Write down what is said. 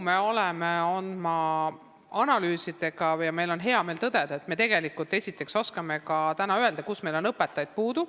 Me oleme teinud analüüse ja meil on hea meel tõdeda, et me oskame täna öelda, kus meil on õpetajaid puudu.